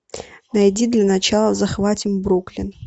найди для начала захватим бруклин